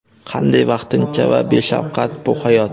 qanday vaqtincha va beshafqat bu hayot.